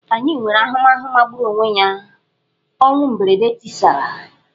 Anyị nwere ahụmahụ magburu onwe ya ọnwụ mberede tisara.